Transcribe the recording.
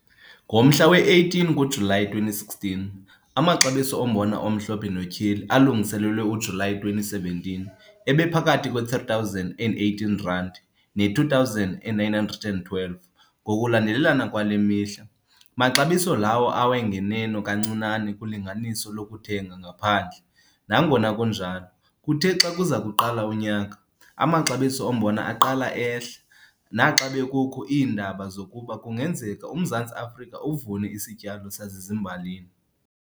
Ngomhla we-18 kuJulayi 2016, amaxabiso ombona omhlophe notyheli alungiselelwe uJulayi 2017 ebephakathi kwe-R3 018 ne-R2 912 ngokokulandelelana kwale mihla, maxabiso lawo awe nganeno kancinane kulinganiso lokuthenga ngaphandle, nangona kunjalo, kuthe xa kuza kuqala unyaka, amaxabiso ombona aqala ehla naxa bekukho iindaba zokuba kungenzeka uMzantsi Afrika uvune isityalo sasezimbalini.